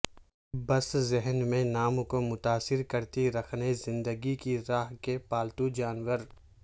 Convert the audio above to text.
بس ذہن میں نام کو متاثر کرتی رکھنے زندگی کی راہ کے پالتو جانور